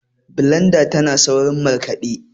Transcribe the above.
blendar tana saurin markaɗe